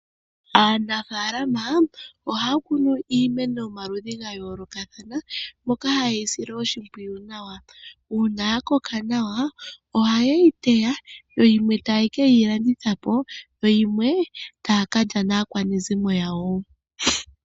Aanafalama ohaya kunu iimeno yomaludhi ga yoolokathana moka haye yi sile oshimpwiyu nawa. Uuna ya koka nawa ohaye yi teya yo yimwe taye ke yi landitha po, yo yimwe taya ka lya naakwanezimo yawo.